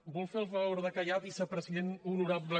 vol fer el favor de callar vicepresident honorable